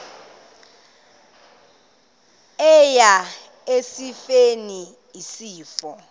eya esifeni isifo